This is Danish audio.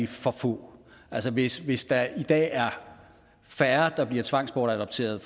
for få altså hvis hvis der i dag er færre der bliver tvangsbortadopteret